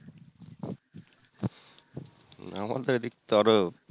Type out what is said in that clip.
আমাদের তো আরও